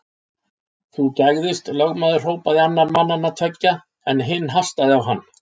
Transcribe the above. Þú gægðist, lögmaður hrópaði annar mannanna tveggja, en hinn hastaði á hann.